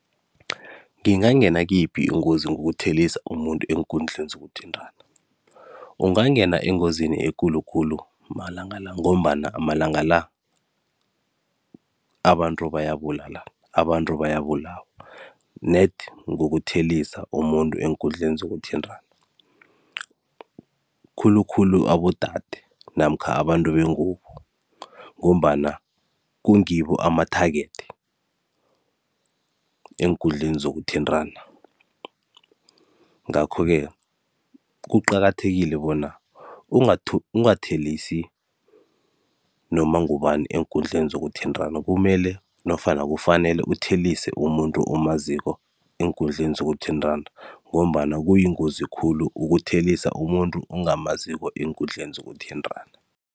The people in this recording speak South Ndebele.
Ngingangena kuyiphi ingozi ngokuthelisa umuntu eenkundleni zokuthintana? Ungangena engozini ekulu khulu amalanga la, ngombana amalanga la abantu bayabulalana, abantu bayabulawa nedi ngokuthelisa umuntu eenkundleni zokuthintana. Khulu khulu abodade namkha abantu bengubo ngombana kungibo ama-target eenkundleni zokuthintana. Ngakho-ke, kuqakathekile bona ungathelisi noma ngubani eenkundleni zokuthintana, kumele nofana kufanele uthelise umuntu omaziko eenkundleni zokuthintana ngombana kuyingozi khulu ukuthelisa umuntu ongamazikoe enkundleni zokuthintana.